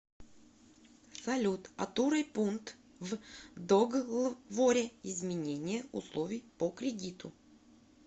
салют отурой пункт в доглворе изменение условий по кредиту